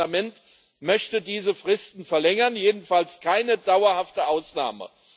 Und das Parlament möchte diese Fristen verlängern, jedenfalls keine dauerhafte Ausnahme.